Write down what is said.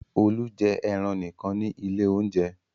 Olú jẹ ẹran nìkan ní ilé-oúnjẹ.